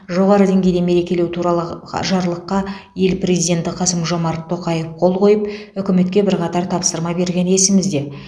жоғары деңгейде мерекелеу туралы жарлыққа ел президенті қасым жомарт тоқаев қол қойып үкіметке бірқатар тапсырма бергені есімізде